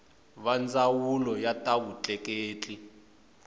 va ndzawulo ya ta vutleketli